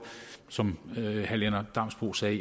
som herre lennart damsbo sagde